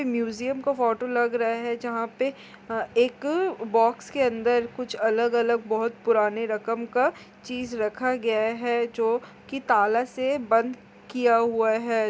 Museum का photo लग रहा है जहाँ पे अ एक बॉक्स के अंदर कुछ अलग-अलग बहोत पुराने रकम का चीज़ रखा हुआ है जो की ताला से बंद किया हुआ है।